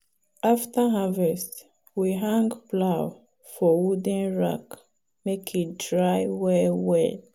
after harvest we hang plow for wooden rack make e dry well well.